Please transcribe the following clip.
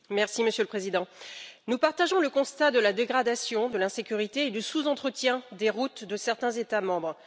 Monsieur le Président, nous partageons le constat de la dégradation, de l'insécurité et du sous entretien des routes de certains États membres.